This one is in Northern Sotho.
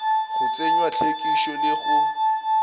go tsenywa hlwekišo le go